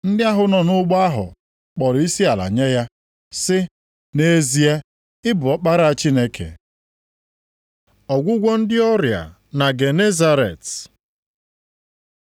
Ndị ahụ nọ nʼụgbọ ahụ kpọrọ isiala nye ya sị, “Nʼezie, ị bụ Ọkpara Chineke.” Ọgwụgwọ ndị ọrịa na Genesaret